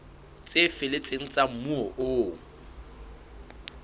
tse felletseng tsa moo ho